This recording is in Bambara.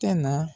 Tɛ na